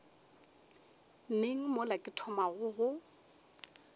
neng mola ke thomago go